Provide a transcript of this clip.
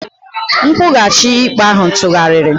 Nkwụghachi ikpe ahụ tụgharịrị.